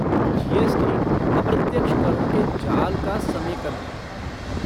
GST. अप्रत्यक्ष करों के जाल का समेकन है।